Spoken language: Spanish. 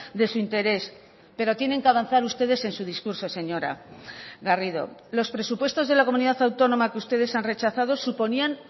de su interés pero tienen que avanzar ustedes en su discurso señora garrido los presupuestos de la comunidad autónoma que ustedes han rechazado suponían